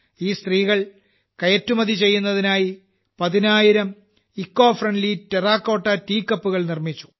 ഈ സ്ത്രീകൾ കയറ്റുമതി ചെയ്യുന്നതിനായി 10000 ഇക്കോഫ്രെൻഡ്ലി ടെറാകോട്ടാ ടിഇഎ കപ്പ് കൾ നിർമ്മിച്ചു